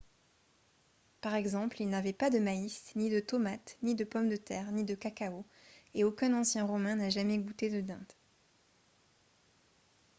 par exemple ils n'avaient pas de maïs ni de tomates ni de pommes de terre ni de cacao et aucun ancien romain n'a jamais goûté de dinde